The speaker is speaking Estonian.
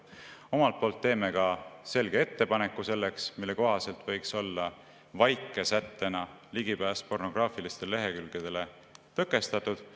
Omalt poolt teeme ka selge ettepaneku, mille kohaselt võiks olla vaikesättena ligipääs pornograafilistele lehekülgedele tõkestatud.